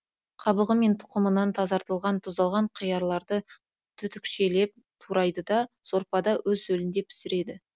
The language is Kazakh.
қабығы мен тұқымынан тазартылған тұздалған қиярларды түтікшелеп турайды да сорпада өз сөлінде пісіреді